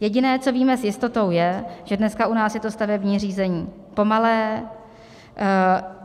Jediné, co víme s jistotou, je, že dneska u nás je to stavební řízení pomalé,